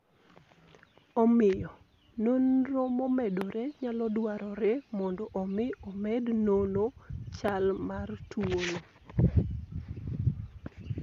Omiyo, nonro momedore nyalo dwarore mondo omi omed nono chal mar tuwono.